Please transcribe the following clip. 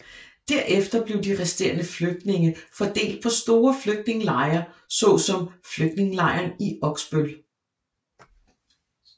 Derefter blev de resterende flygtninge fordelt på store flygtningelejre så som Flygtningelejren i Oksbøl